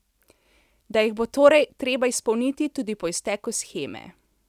Da jih bo torej treba izpolniti tudi po izteku sheme.